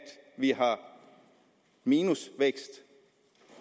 vi har minusvækst